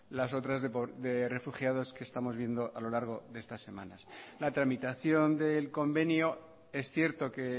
las otras de refugiado que estamos viendo a lo largo de estas semanas la tramitación del convenio es cierto que